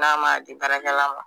N'a m'a di baarakɛla ma